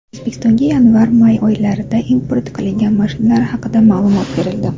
O‘zbekistonga yanvarmay oylarida import qilingan mashinalar haqida ma’lumot berildi.